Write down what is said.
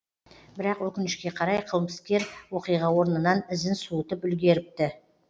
бірақ өкінішке қарай қылмыскер оқиға орнынан ізін суытып үлгеріпті